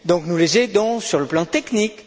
Nous les aidons donc sur le plan technique.